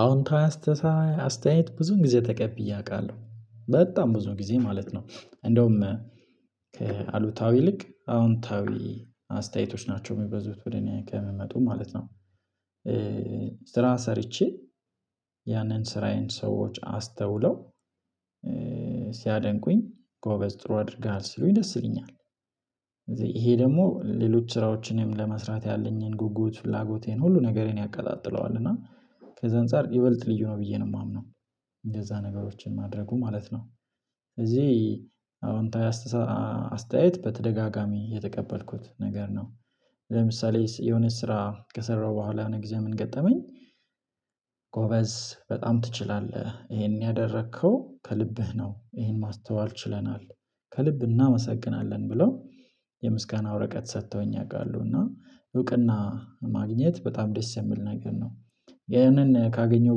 አዎንታዊ አስተ አስተያየት ብዙን ጊዜ ተቀብዬ አውቃለሁ በጣም ብዙ ጊዜ ማለት ነው። እንደውም ከአሉታዊ ይልቅ አዎንታዊ አስተያየቶች ናቸው የሚበዙት ወደ እኔ ከምመጡ ማለት ነው። ስራ ሰርቼ ያንን ስራዬን ሰዎች አስተውለው ሲያደንቁኝ ጎበዝ ጥሩ አድርሀል ሲሉኝ ደስ ይለኛል። ደግሞ ሌሎች ስራዎችንም ለመስራት ያለኝን ጉጉት ፍላጎቴን ሁሉ ነገርን ያቀጣጥለዋል እና ከዛ አንፃር ይበልጥ ልዩ ነው ብዬ ነው የማምነው። እንደዛ ነገሮችን ማድረጉ ማለት ነው። እዚህ አዎንታዊ አስተያየት በተደጋጋሚ የተቀበልኩት ነገር ነው። ለምሳሌ የሆነ ስራ ከሰራሁ በኋላ የሆነ ጊዜ ምን ገጠመኝ? ጎበዝ በጣም ትችላለህ ይሄን ያደረከው ከልብህ ነው ይሄን ማስተዋል ችለናል ከልብ እናመሰግናለን ብለው ወረቀት ሰጥተውኝ አውቃለሁ እና እውቅና ማግኘት በጣም ደስ የምል ነገር ነው። ይሄንን ካገኘው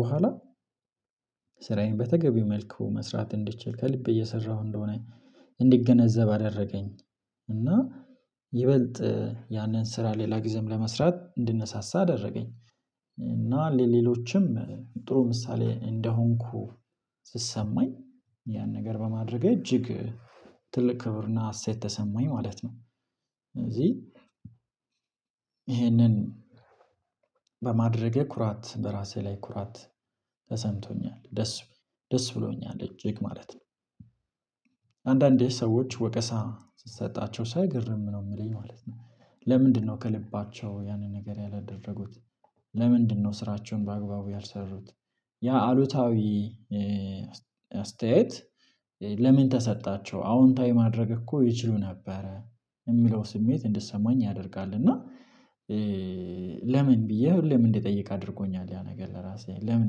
በኋላ ስራዬን በተገቢው መልኩ መስራት እንድችል ከልቤ እየሰራሁ እንደሆነ እንዲገነዘብ አደረገኝ። እና ይበልጥ ያንን ስራ ሌላ ጊዜም ለመስራት እንድነሳሳ አደረገኝ። እና ሌሎችም ጥሩ ምሳሌ እንደሆንኩ ስሰማኝ ያን ነገር በማድረግ እጅግ ትልቅ ክብርና ሀሴት ተሰማኝ ማለት ነው። እዚህ ይህንን በማድረጌ ኩራት በራሴ ላይ ኩራት ተሰምቶኛል ደስ ደስ ብሎኛል እጅግ ማለት ነው። አንዳንዴ ሰዎች ወቀሳ ስትሰጣቸው ሳይ ግርም ነው የምለኝ ማለት ነው። ለምንድነው ከልባቸው ያንን ነገር ያላደረጉት? ለምንድነው ስራቸውን በአግባቡ ያልሰሩት? ያ አሉታዊ አስተያየት ለምን ተሰጣቸው አዎንታዊ ማድረግ እኮ ይችሉ ነበረ የሚለው ስሜት እንድትሰማኝ ያደርጋል እና። ለምን ብዬ ለምን እንድትጠይቅ አድርጎኛል ያ ነገር ለራሴ ለምን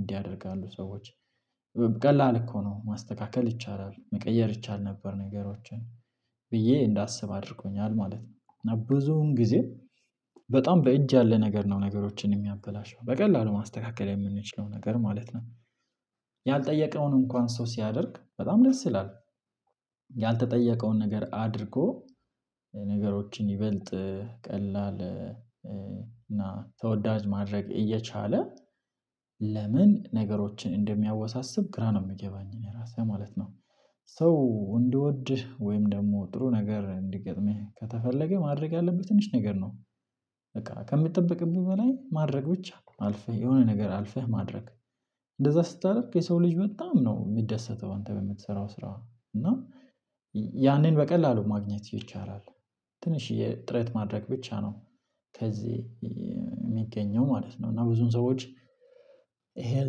እንዲህ ያደርጋሉ ሰዎች? ቀላል እኮ ነው ማስተካከል ይቻላል መቀየር ይቻል ነበር ነገሮችን ብዬ እንዳስብ አድርጎኛል ማለት ነው። እና ብዙዉን ጊዜ በጣም በእጅ ያለ ነገር ነው ነገሮችን የሚያበላሸው በቀላሉ ማስተካከል የምንችለው ነገር ማለት ነው። ያልጠየቀነውን እንኳን ሰው ሲያደርግ በጣም ደስ ይላል። ያልተጠየቀውን ነገር አድርጎ ነገሮችን ይበልጥ ቀላል እና ተወዳጅ ማድረግ እየቻለ ለምን ነገሮችን እንደሚያወሳስብ ግራ ነው የምገባኝ እኔ ራሴ ማለት ነው። ሰው እንዲወድህ ደግሞ ጥሩ ነገር እንዲገጥምህ ከተፈለገ ማድረግ ያለብህ ትንሽ ነገር ነው። በቃ ከሚጠብቅብህ በላይ ማድረግ ብቻ አልፈህ የሆነ ነገር አልፈህ ማድረግ እንደዛ ስታደርግ የሰው ልጅ በጣም ነው የሚደሰተው አንተ በምትሰራው ስራ እና ያኔን በቀላሉ ማግኘት ይቻላል። ትንሽዬ ጥረት ማድረግ ብቻ ነው ከዚህ የሚገኘው ማለት ነው። እና ብዙን ሰዎች ይሄን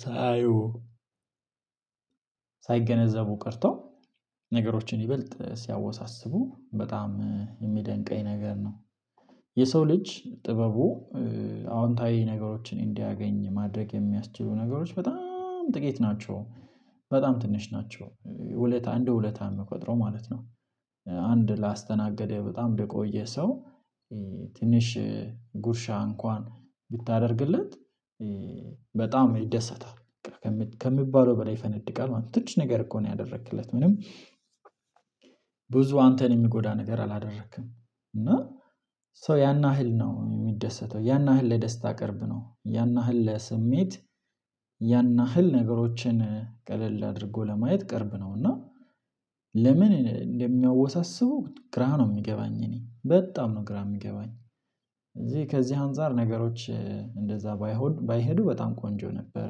ሳያዩ ሳይገነዘቡ ቀርተው ነገሮችን ይበልጥ ሲያወሳስቡ በጣም የሚያደንቀኝ ነገር ነው። የሰው ልጅ ጥበቡ አዎንታዊ ነገሮችን እንዲያገኝ ማድረግ የሚያስችሉ ነገሮች በጣም ጥቂት ናቸው። በጣም ትንሽ ናቸው ውለታ እንደ ውለታ የምቆጥረው ማለት ነው። አንድ ላስተናገደ በጣም የቆየ ሰው ትንሽ ጉርሻ እንኳን ብታደርግለት በጣም ይደሰታል። ከሚባለው በላይ ይፈነድቃል ማለት ነው ትንሽ ነገር እኮ ነው ያደረክለት ምንም አንተን የሚጎዳ ነገር አላደረክም። እና ሶ ያን ያህል ነው የሚደሰተው ያን ያህል ለደስታ ቅርብ ነው ያን አህል ለስሜት ያን አህል ነገሮችን ቀለል አድርጎ ለማየት ቅርብ ነው እና ለምን እንደሚያወሳስቡ ግራ ነው የሚገባኝ እኔ በጣም ነው ግራ የሚገባኝ። እዚህ ከዚህ አንፃር ነገሮች እንደዛ ባይሆን ባይሄዱ በጣም ቆንጆ ነበረ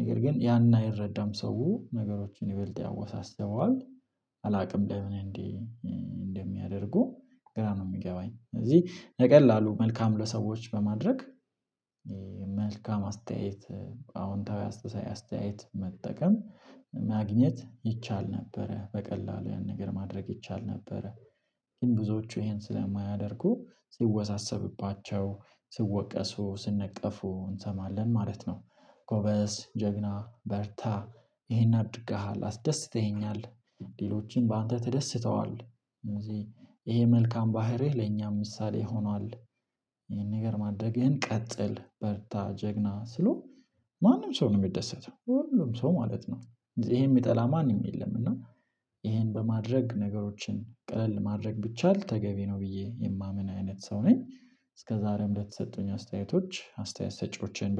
ነገር ግን ያንን አይረዳም ሰው ነገሮችን ይበልጥ ያወሳስበዋል። አላውቅም ለምንም እንዲ እንደሚያደርጉ ግራ ነው የሚገባኝ ስለዚህ በቀላሉ መልካም ለሰዎች በማድረግ። መልካም አስተያየት አዎንታዊ አስተያየት መጠቀም ማግኘት ይቻል ነበረ በቀላሉ ያን ነገር ማድረግ ይቻል ነበረ። ግን ብዙዎቹ ይሄን ስለማያደርጉ ሲወሳሰብባቸው ሲወቀሱ ሲነቀፉ እንሰማለን ማለት ነው። ጎበዝ ጀግና በርታ ይሄን አድርገሃል አስደስተኸኛል። ሌሎችም በአንተ ተደስተዋል። ለምሳሌ ይሄ መልካም ባህሪህ ለእኛም ምሳሌ ሆኗል። ይሄን ነገር ማደረግህን ቀጥል በርታ ጀግና ስሎ ማንም ሰው ነው የሚደሰተው ሁሉም ሰው ማለት ነው። ይሄን የሚጠላ ማንም የለም እና ይሄን በማድረግ ነገሮችን ቀለል ማድረግ ብቻል ተገቢ ነው ብዬ የማምን አይነት ሰው ነኝ። እስከዛሬም ለተሰጡኝ አስተያየቶች አስተያየት ሰጪዎችን